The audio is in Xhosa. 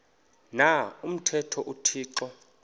na umthetho uthixo